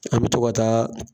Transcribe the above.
An bɛ to ka taa